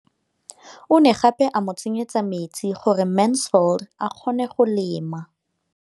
O ne gape a mo tsenyetsa metsi gore Mansfield a kgone go lema.